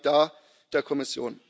Vielen Dank hier der Kommission!